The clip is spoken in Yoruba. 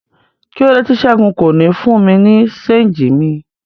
Kílode ti Sẹgun ko ní fún mi ni ṣéngì mi?